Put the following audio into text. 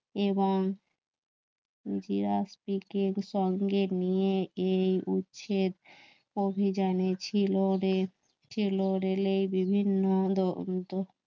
এবং এর সঙ্গে নিয়ে এই উচ্ছেদ অভিযানে ছিল ছিল, রেলে, বিভিন্ন আলোর মতো